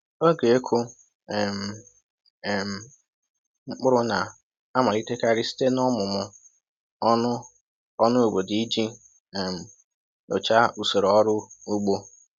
Oge ịkụ um um mkpụrụ na-amalitekarị site n’ọmụmụ ọnụ ọnụ obodo iji um nyochaa usoro ọrụ ugbo.